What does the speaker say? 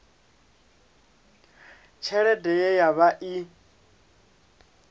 tshelede ye ya vha i